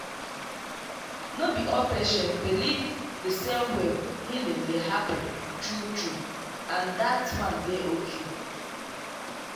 no be all patient believe the same way healing dey happen true true—and that one dey okay.